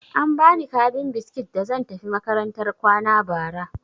An ba ni kabin biskit da zan tafi makarantar kwana bara.